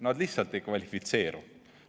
Nad lihtsalt ei kvalifitseeru.